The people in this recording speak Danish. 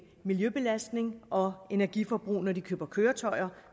miljøbelastning og energiforbrug når de køber køretøjer